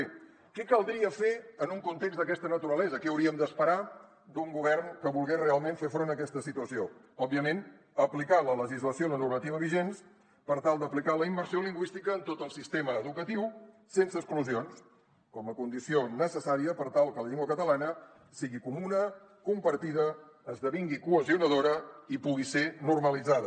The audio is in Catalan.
bé què caldria fer en un context d’aquesta naturalesa què hauríem d’esperar d’un govern que volgués realment fer front a aquesta situació òbviament aplicar la legislació i la normativa vigents per tal d’aplicar la immersió lingüística en tot el sistema educatiu sense exclusions com a condició necessària per tal que la llengua catalana sigui comuna compartida esdevingui cohesionadora i pugui ser normalitzada